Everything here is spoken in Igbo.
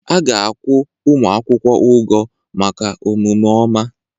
A ga-akwụ ụmụ akwụkwọ ụgwọ maka omume ọma